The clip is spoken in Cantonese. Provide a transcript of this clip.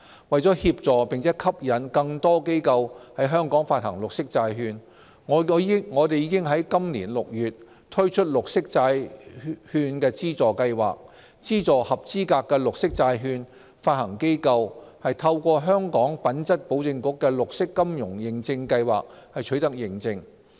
為協助並吸引更多機構於香港發行綠色債券，我們已在本年6月推出綠色債券資助計劃，資助合資格的綠色債券發行機構透過香港品質保證局的綠色金融認證計劃取得認證。